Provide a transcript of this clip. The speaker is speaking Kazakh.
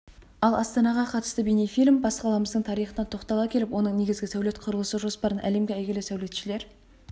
ал астанаға қатысты бейнефильм бас қаламыздың тарихына тоқтала келіп оның негізгі сәулет-құрылыс жоспарын әлемге әйгілі сәулетшілер